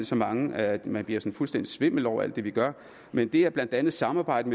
så mange at man bliver fuldstændig svimmel over alt det vi gør men det er blandt andet samarbejde